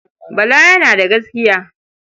Bala yana da gaskiya.